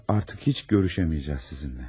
Artıq heç görüşəmməyəcəyik sizinlə.